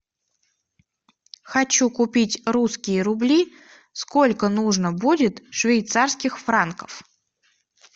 хочу купить русские рубли сколько нужно будет швейцарских франков